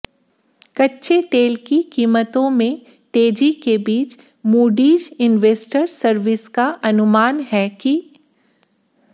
कच्चे तेल की कीमतों में तेजी के बीच मूडीज इन्वेस्टर सर्विस का अनुमान है कि